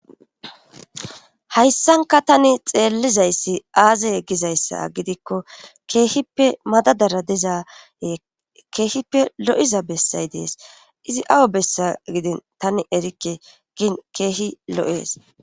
Hayssankka tani xeellizayssi azze gizayssa gidikko keehhippe madadazara dida keehippe lo7iza bessay dees izi awa bessa gidin tani erikke gin keehi lo7ees.